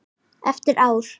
Eftir ár?